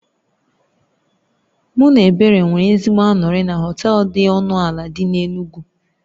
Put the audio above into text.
Mụ na Ebere nwere ezigbo anụrị na họtel dị ọnụ ala dị n'Enugwu